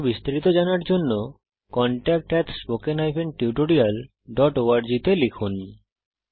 আরো বিস্তারিত জানার জন্য contactspoken tutorialorg তে লিখুন